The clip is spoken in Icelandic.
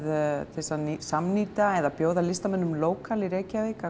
til að samnýta eða bjóða listamönnum lókal í Reykjavík